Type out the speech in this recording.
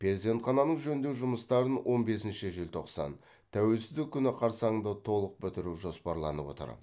перзентхананың жөндеу жұмыстарын он бесінші желтоқсан тәуелсіздік күні қарсаңында толық бітіру жоспарланып отыр